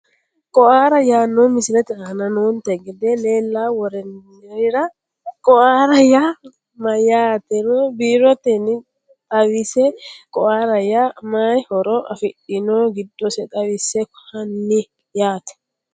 Quora yaanohu misilete aana noonte gede leelawonerira qouora yaa mayatero biroteni xawisse quora yaa mayihoro afidhino gidose xawisse hanni yaate.